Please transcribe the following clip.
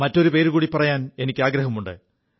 മറ്റൊരു പേരുകൂടി പറയാൻ എനിക്കാഗ്രഹമുണ്ട്